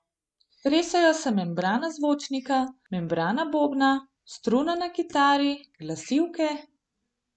Tresejo se membrana zvočnika, membrana bobna, struna na kitari, glasilke ...